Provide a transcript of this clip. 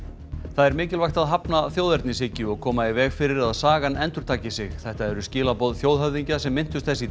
það er mikilvægt að hafna þjóðernishyggju og koma í veg fyrir að sagan endurtaki sig þetta eru skilaboð þjóðhöfðingja sem minntust þess